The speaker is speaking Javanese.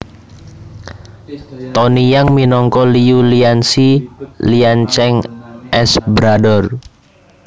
Tony Yang minangka Liu Lianxi Liancheng s brother